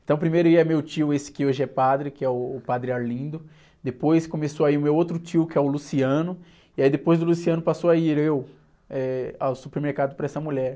Então, primeiro ia meu tio, esse que hoje é padre, que é, uh, o Padre Arlindo, depois começou a ir o meu outro tio, que é o Luciano, e aí depois do Luciano passou a ir eu ao supermercado para essa mulher.